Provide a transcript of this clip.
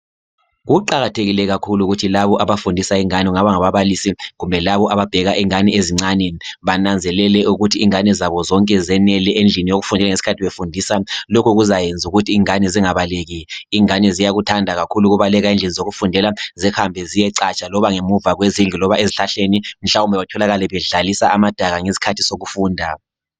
Kuqakathekile kakhulu ukuthi labo abafundisa ingane kungaba ngababalisi kumbe labo ababheka ingane ezincane bananzelele ukuthi ingane zabo zonke zenele endlini yokufundela ngesikhathi befundisa. Lokhu kuzayenza ukuthi ingane zingabaleki. ingane ziyakuthanda kakhulu ukubaleka endlini zokufundela zihambe ziyecatsha loba ngemuva kwezindlu loba ezihlahleni. Mhlawumbe batholakale bedlalisa amadaka ngesikhathi sokufunda .